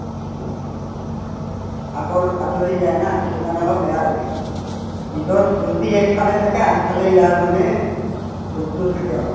আতৰ আতৰি যায় না সেইটো কাৰণে অলপ বেয়া লাগে ঈদৰ ফূৰ্তি একফালে থাকে আনফালে ইয়াৰ মানে দুখতো থাকে অলপ